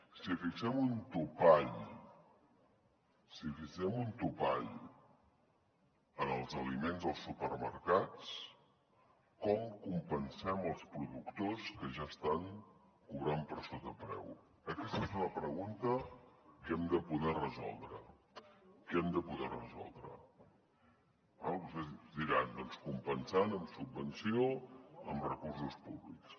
si fixem un topall si fixem un topall en els aliments als supermercats com compensem els productors que ja estan cobrant per sota preu aquesta és una pregunta que hem de poder resoldre que hem de poder resoldre eh és clar vostès diran doncs compensant amb subvenció amb recursos públics